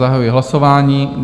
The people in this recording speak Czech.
Zahajuji hlasování.